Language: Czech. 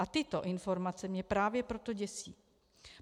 A tyto informace mě právě proto děsí.